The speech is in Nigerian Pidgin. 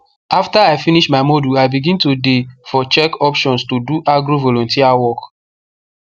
after i finish my module i begin to dey for check options to do agro volunteer work